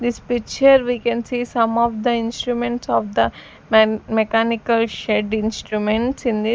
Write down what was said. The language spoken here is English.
this picture we can see some of the instruments of the men mechanical shed instruments in the--